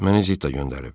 Məni Zitta göndərib.